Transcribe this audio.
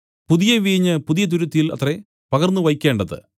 പുതിയ വീഞ്ഞ് പുതിയ തുരുത്തിയിൽ അത്രേ പകർന്നുവയ്ക്കേണ്ടത്